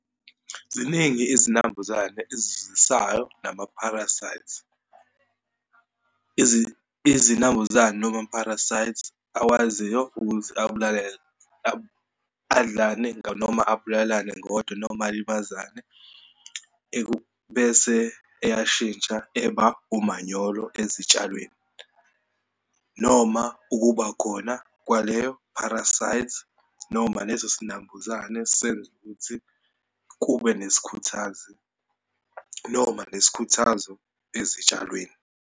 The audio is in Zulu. Ziningi izinambuzane ezizwisayo namapharasayithi. Izinambuzane noma amapharasayithi akwaziyo ukuthi abulale adlane noma ababulalane ngodwa noma alimazane, bese eyashintsha eba umanyolo ezitshalweni, noma ukubakhona kwaleyo pharasayithi, noma leso sinambuzane isenza ukuthi kube nesikhuthazi, noma nesikhuthazo ezitshalweni.